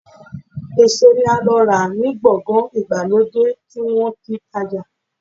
Eso ni a lo ra ni gbogan igbalode ti won ti n taja